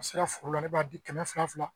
A sera foro la ne b'a di kɛmɛ fila fila